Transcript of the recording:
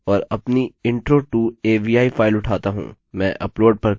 मैं अपलोड पर क्लिक करूँगा और हम देखेंगे कि अपलोड पूर्ण हो गया है